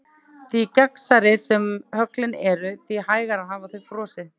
Því gegnsærri sem höglin eru því hægar hafa þau frosið.